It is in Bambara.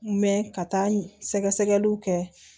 Mɛ ka taa sɛgɛsɛgɛliw kɛ